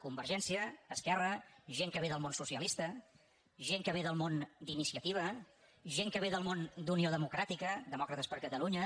convergència esquerra gent que ve del món socialista gent que ve del món d’iniciativa gent que ve del món d’unió democràtica demòcrates per catalunya